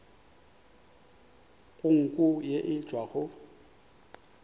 go nko ye e tšwago